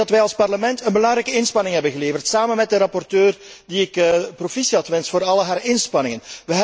Ik denk dat wij als Parlement een belangrijke inspanning hebben geleverd samen met de rapporteur die ik complimenteer voor al haar inspanningen.